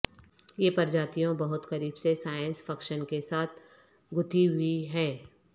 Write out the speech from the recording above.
یہ پرجاتیوں بہت قریب سے سائنس فکشن کے ساتھ گتھی ہوئی ہے